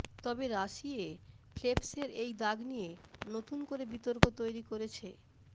তবে রাশিয়ে ফেল্পসের এই দাগ নিয়ে নতুন করে বিতর্ক তৈরি করেছে